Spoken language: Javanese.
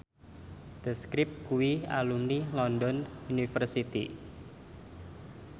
The Script kuwi alumni London University